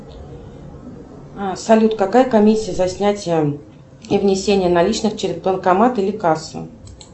салют какая комиссия за снятие и внесение наличных через банкомат или кассу